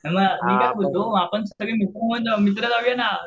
हे बघ मी काय बोलतो मित्र जाऊया ना